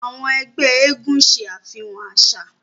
Àwọn ẹgbẹ́ eégún ṣe àfihàn àṣà.